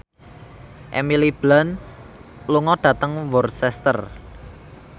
Emily Blunt lunga dhateng Worcester